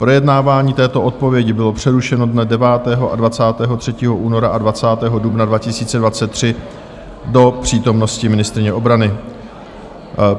Projednávání této odpovědi bylo přerušeno dne 9. a 23. února a 20. dubna 2023 do přítomnosti ministryně obrany.